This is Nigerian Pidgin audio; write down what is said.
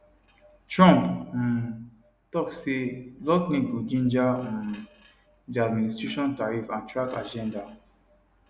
trump um tok say lutnick go ginger um di administration tarriff and track agenda